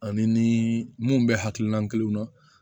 Ani ni mun bɛ hakilina kelen na